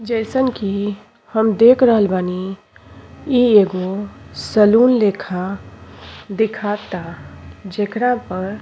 जइसन की हम देख रहल बानी इ एगो सलून लेखा दिखाता जेकरा पर --